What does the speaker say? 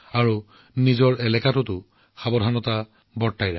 সকলোকে বহুত শুভচ্ছা জনালো